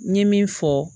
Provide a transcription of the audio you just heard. N ye min fɔ